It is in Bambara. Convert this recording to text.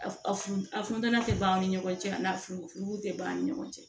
A f a funu a funtɛni tɛ ban an ni ɲɔgɔn cɛ a n'a furufun tɛ an ni ɲɔgɔn cɛ